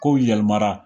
Kow yɛlɛmara